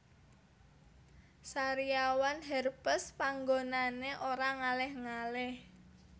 Sariawan herpes panggonane ora ngalih ngalih